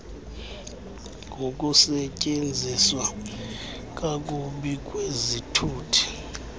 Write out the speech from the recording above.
ngokusetyenziswa kakubi kwezithuthi